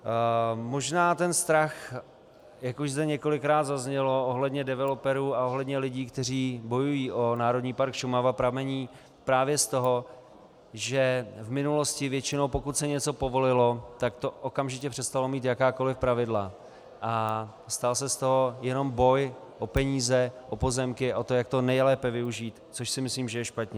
Možná ten strach, jak už zde několikrát zaznělo ohledně developerů a ohledně lidí, kteří bojují o Národní park Šumava, pramení právě z toho, že v minulosti většinou, pokud se něco povolilo, tak to okamžitě přestalo mít jakákoliv pravidla a stal se z toho jenom boj o peníze, o pozemky, o to, jak to nejlépe využít, což si myslím, že je špatně.